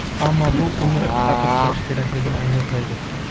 ammo bu uni ta’qib qilish kerakligini anglatmaydi.